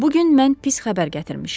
Bu gün mən pis xəbər gətirmişəm.